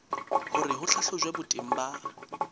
hore ho hlahlojwe boteng ba